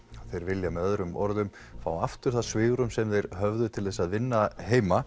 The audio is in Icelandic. þeir vilja með öðrum orðum fá aftur það svigrúm sem þeir höfðu til að vinna heima